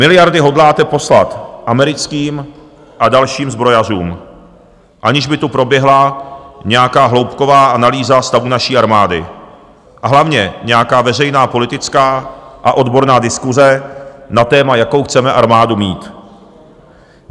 Miliardy hodláte poslat americkým a dalším zbrojařům, aniž by tu proběhla nějaká hloubková analýza stavu naší armády, a hlavně nějaká veřejná politická a odborná diskuse na téma, jakou chceme armádu mít.